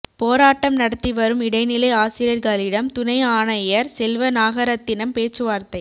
போராட்டம் நடத்திவரும் இடைநிலை ஆசிரியர்களிடம் துணை ஆணையர் செல்வ நாகரத்தினம் பேச்சுவார்த்தை